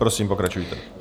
Prosím, pokračujte.